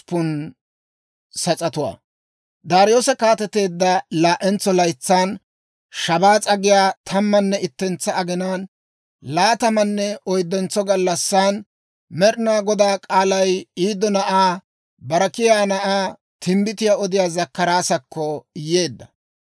Daariyoose kaateteedda laa"entso laytsan, Shabaas'a giyaa tammanne ittentsa aginaan, laatamanne oyddentso gallassi Med'inaa Goday k'aalay Iddo na'aa Berekiyaa na'aa timbbitiyaa odiyaa Zakkaraasakko yeedda.